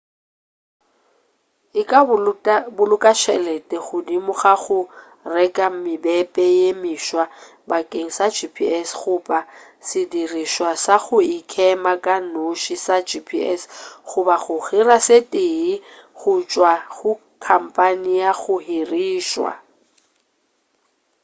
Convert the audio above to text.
e ka boloka tšhelete godimo ga go reka mebepe ye meswa bakeng sa gps goba sedirišwa sa go ikema ka noši sa gps goba go hira se tee go tšwa go khamphane ya go hirša